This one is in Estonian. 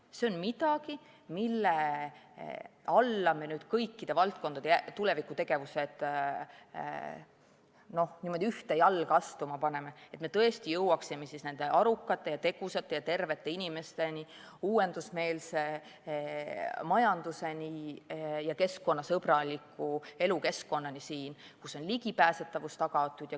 See on midagi, mille all me kõikide valdkondade tulevikutegevused ühte jalga astuma paneme, et me tõesti jõuaksime selleni, et meil on arukad, tegusad ja terved inimesed, uuendusmeelne majandus ja keskkonnasõbralik elukeskkond, kus ligipääsetavus on tagatud.